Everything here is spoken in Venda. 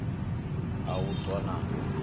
a u ṱwa na u